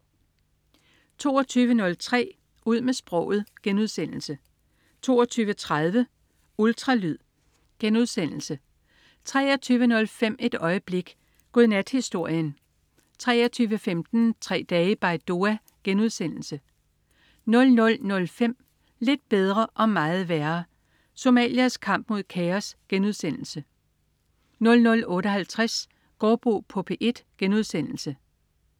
22.03 Ud med sproget* 22.30 Ultralyd* 23.05 Et øjeblik. Godnathistorien 23.15 Tre dage i Baidoa* 00.05 Lidt bedre og meget værre. Somalias kamp mod kaos* 00.58 Gaardbo på P1*